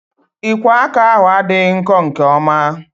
Ikwo aka ahu adịghị nkọ nke oma